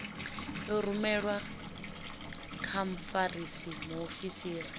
i rumelwe kha mfarisa muofisiri